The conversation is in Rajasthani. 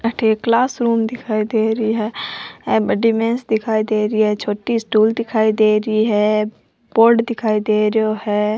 अठे एक क्लास रूम दिखाई दे रही है बड़ी बेंच दिखाई दे री है छोटी स्टूल दिखाई दे री है बोर्ड दिखाई दे रेहो है।